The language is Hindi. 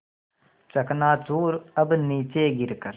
चकनाचूर अब नीचे गिर कर